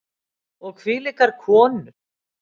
Og hvílíkar konur!